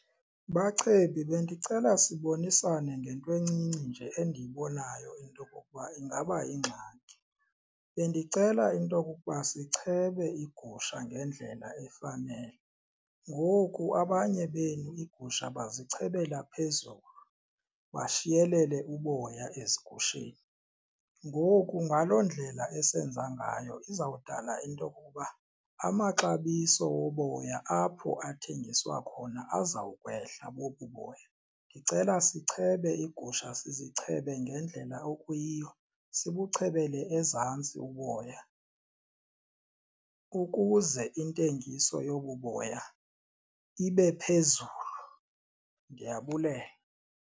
Bachebi, bendicela sibonisane ngento encinci nje endiyibonayo into okokuba ingaba ingxaki. Bendicela into okokuba sichebe igusha ngendlela efanele. Ngoku abanye benu iigusha bazichebela phezulu bashiyelele uboya ezigusheni, ngoku ngaloo ndlela esenza ngayo izawudala into yokokuba amaxabiso woboya apho athengiswa khona azawukwehla bobu boya. Ndicela sichebe iigusha sizichebe ngendlela okuyiyo sibuchebele ezantsi uboya ukuze intengiso yobu boya ibe phezulu ndiyabulela.